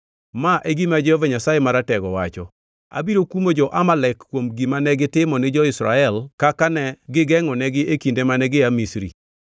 Ma e gima Jehova Nyasaye Maratego wacho: ‘Abiro kumo jo-Amalek kuom gima negitimo ni jo-Israel kaka ne gigengʼonegi e kinde mane gia Misri.